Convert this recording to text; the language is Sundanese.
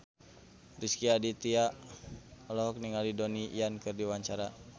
Rezky Aditya olohok ningali Donnie Yan keur diwawancara